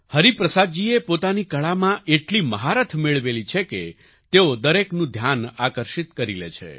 હરિપ્રસાદજીએ પોતાની કળામાં એટલી મહારથ મેળવેલી છે કે તેઓ દરેકનું ધ્યાન આકર્ષિત કરી લે છે